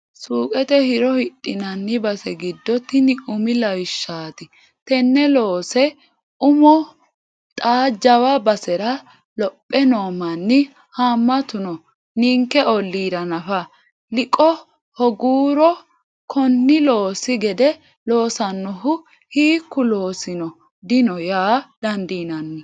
Suqete hiro hidhinanni base giddo tini umi lawishshati, tene loose umo xa jawa basera lophe noo manni hamatu no ninke ollira nafa, liqo hooguro koni loosi gede losanohu hiikku loosino dino yaa dandiinanni.